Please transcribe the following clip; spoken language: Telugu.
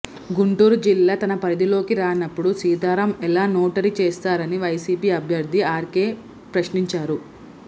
గుంటూరు జిల్లా తన పరిధిలోకి రానప్పుడు సీతారామ్ ఎలా నోటరీ చేస్తారని వైసీపీ అభ్యర్థి ఆర్కే ప్రశ్నించారు